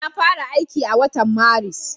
Na fara aiki a watan Maris.